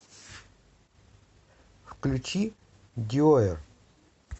включи диоер